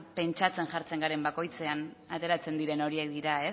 pentsatzen jartzen garen bakoitzean ateratzen diren horiek dira